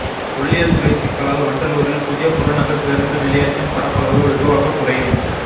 தொல்லியல் துறை சிக்கலால் வண்டலூரில் புதிய புறநகர் பேருந்து நிலையத்தின் பரப்பளவு வெகுவாக குறையும்